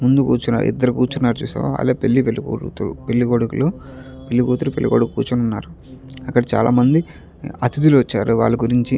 ముందు కూర్చున్నారు. ఇద్దరు కూర్చున్నారు చూసావా అదే పెళ్లి పెళ్లికూతురు పెళ్లి కొడుకులు పెళ్లి కూతురు పెళ్లి కొడుకు కూర్చున్నారు. అక్కడ చాలామంది అతిధులు వచ్చారు. వాళ్ళ గురించి --